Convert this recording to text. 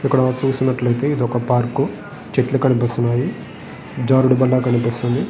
ఇక్కడ చూసినట్లయితే ఇది ఒక పార్కు .చెట్లు కనిపిస్తున్నాయి. జారుడుబల్ల కనిపిస్తున్నది.